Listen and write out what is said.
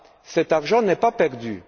Cet argent n'est pas perdu.